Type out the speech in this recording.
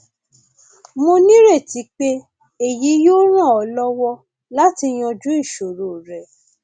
mo nireti pé èyí yóò ràn ọ lọwọ láti yanjú ìṣòro rẹ